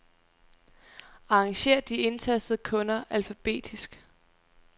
Arrangér de indtastede kunder alfabetisk.